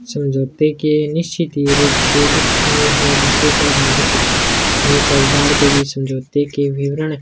समझौते के निश्चित ही रूप से लिखित मे हो जिसे समझोते के विवरण --